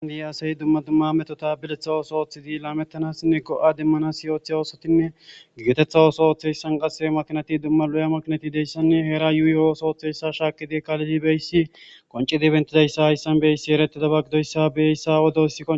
aadii asayi dumma dumma metota biletha ooso ooththidi laamettanassinne go7a dimmanas iyoothe oosotinne gigetetha ooso ooththeyssan qase makinati dumma lo7a makinati deyssanne heera yuuyi o7oso ooththeyssa shaakidi kaalidi beyssi qoncidi bentidayssa hayssan beyssi eretida baggidoyssa beyeyssa wodos